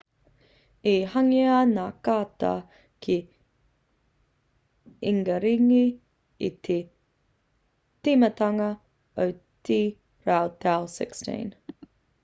i hangaia ngā kāta ki ingaringi i te tīmatanga o te rautau 16